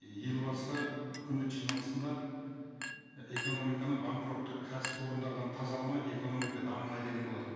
елбасы үкімет жиналысында экономиканы банкроттық кәсіпорындардан тазаламай экономика дамымайды деген болатын